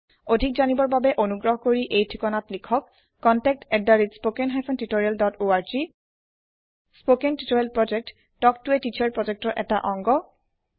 অধিক জানিবৰ বাবে অনুগ্ৰহ কৰি এই ঠিকনাত লিখক contactspoken tutorialorg স্পকেন টিওটৰিয়েলৰ প্ৰকল্প তাল্ক ত a টিচাৰ প্ৰকল্পৰ এটা অংগ